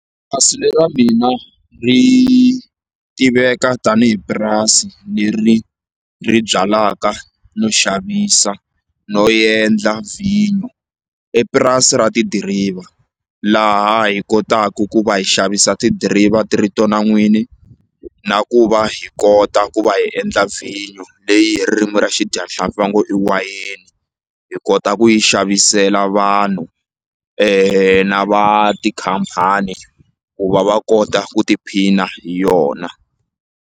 le ra mina ri tiveka tanihi purasi leri ri byalaka no xavisa no yendla vhinyu epurasi ra tidiriva laha hi kotaku ku va hi xavisa tidiriva ti ri tona n'wini na ku va hi kota ku va hi endla vhinyu leyi hi ririmi ra xidyahlampfi va ngo i wayeni hi kota ku yi xavisela vanhu na va tikhampani ku va va kota ku tiphina hi yona.